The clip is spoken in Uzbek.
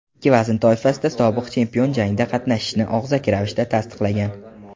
ikki vazn toifasida sobiq chempion jangda qatnashishini og‘zaki ravishda tasdiqlagan.